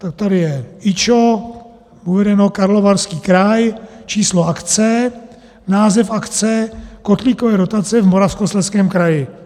Tak tady je IČO uvedeno, Karlovarský kraj, číslo akce, název akce, kotlíkové dotace v Moravskoslezském kraji.